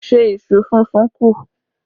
Ṣé iṣu súnsun kù?